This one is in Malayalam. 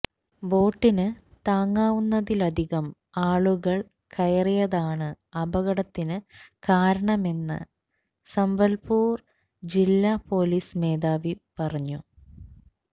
ബോട്ടിന് താങ്ങാവുന്നതിലധികം ആളുകള് കയറിയതാണ് അപകടത്തിന് കാരണമെന്ന് സമ്പല്പുര് ജില്ലാ പോലീസ് മേധാവി പറഞ്ഞു